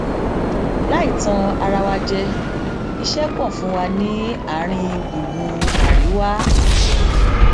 láì tan ara wa jẹ iṣẹ pọ fún wa ní àárín gbùngbùn àríwá